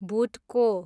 भुट्को